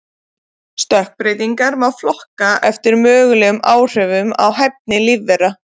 Stökkbreytingar má flokka eftir mögulegum áhrifum á hæfni lífvera.